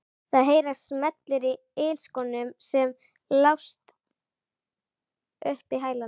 Það heyrast smellir í ilskónum sem slást upp í hælana.